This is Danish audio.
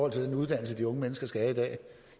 af den uddannelse de unge mennesker skal have